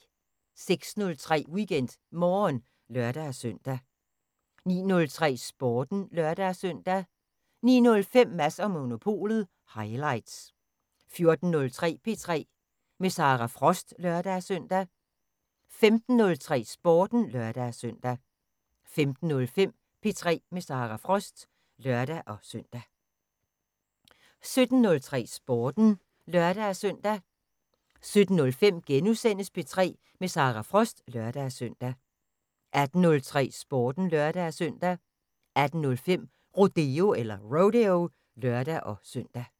06:03: WeekendMorgen (lør-søn) 09:03: Sporten (lør-søn) 09:05: Mads & Monopolet highlights 14:03: P3 med Sara Frost (lør-søn) 15:03: Sporten (lør-søn) 15:05: P3 med Sara Frost (lør-søn) 17:03: Sporten (lør-søn) 17:05: P3 med Sara Frost *(lør-søn) 18:03: Sporten (lør-søn) 18:05: Rodeo (lør-søn)